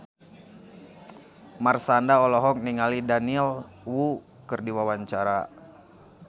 Marshanda olohok ningali Daniel Wu keur diwawancara